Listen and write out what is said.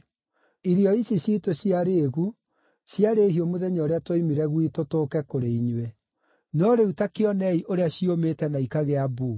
Irio ici ciitũ cia rĩĩgu ciarĩ hiũ mũthenya ũrĩa tuoimire gwitũ tũke kũrĩ inyuĩ. No rĩu ta kĩonei ũrĩa ciũmĩte na ikagĩa mbuu.